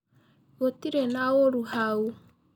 Gũtĩrĩ naũrũ hau.